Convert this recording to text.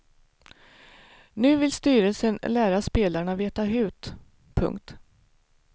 Nu vill styrelsen lära spelarna veta hut. punkt